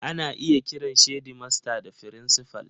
Ana iya kiran shedimasta da frincifal.